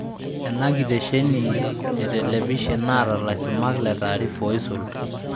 Ena kitesheni e telepishen naata laisumak le taarifa oisul